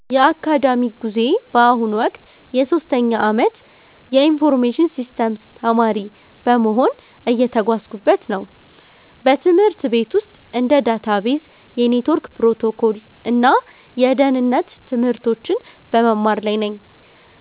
የአካዳሚክ ጉዞዬ በአሁኑ ወቅት የሶስተኛ ዓመት የኢንፎርሜሽን ሲስተምስ ተማሪ በመሆን እየተጓዝኩበት ነው። በትምህርት ቤት ውስጥ እንደ ዳታቤዝ፣ የኔትወርክ ፕሮቶኮል እና የደህንነት ትምህርቶችን በመማር ላይ ነኝ።